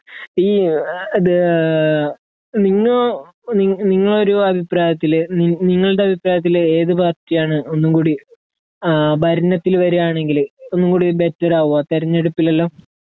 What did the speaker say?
ഈ ഇത് ഏ നിങ്ങ നിങ്ങളൊരു അഭിപ്രായത്തില് നിങ്ങളുടെ അഭിപ്രായത്തില് ഏത് പാർട്ടിയാണ് ഒന്നും കൂടി ആ ഭരണത്തില് വരികയാണെങ്കില് ഒന്നും കൂടി ബെറ്റർ ആകുക തിരഞ്ഞെടുപ്പിലെല്ലാം